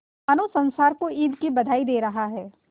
मानो संसार को ईद की बधाई दे रहा है